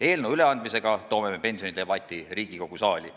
Eelnõu üleandmisega toome me pensionidebati Riigikogu saali.